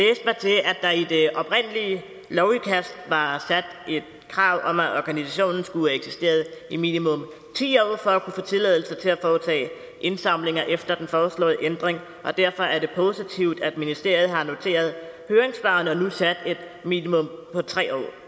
der i det oprindelige lovudkast var sat et krav om at organisationen skulle have eksisteret i minimum ti år for at kunne få tilladelse til at foretage indsamlinger efter den foreslåede ændring og derfor er det positivt at ministeriet har noteret høringssvarene og nu har sat et minimum på tre år